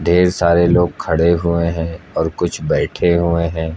ढेर सारे लोग खड़े हुए हैं और कुछ बैठे हुए हैं।